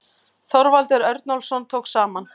Þorvaldur Örnólfsson tók saman.